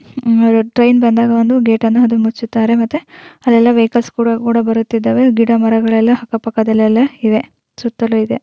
Train ಬಂದಾಗ ಒಂದು ಗಟನ್ನ ಅವರು ಮುಚ್ಚಿದ್ದಾರೆ ಮತ್ತು ಅಲ್ಲೆಲ್ಲ ವೆಹಿಕಲ್ಸ್ ಬರ್ತಾಇವೆ ಸುತ್ತಲೂ ಮರ ಗಿಡಗಳು ಇವೆ.